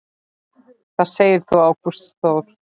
Hvað segir Ágúst Þór?